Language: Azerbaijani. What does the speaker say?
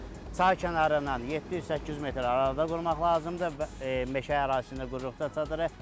Çay kənarından 700-800 metr arada qurmaq lazımdır və meşə ərazisində qururuqda çadırı.